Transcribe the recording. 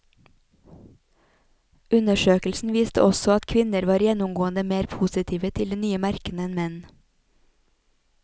Undersøkelsen viste også at kvinner var gjennomgående mer positive til de nye merkene enn menn.